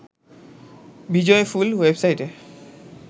বিজয়ফুল ওয়েবসাইটে